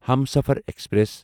Humsafar express